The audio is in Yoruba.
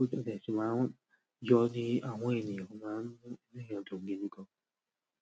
o de tun máa ń yọ ní àhọn ènìyàn, ó máa ń yọ dùn gidi gan.